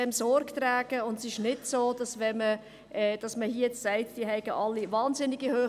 Wenn man jetzt hier sagt, sie hätten wahnsinnig hohe Löhne, dann ist das nicht wahr.